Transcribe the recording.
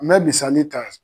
N bɛ misali ta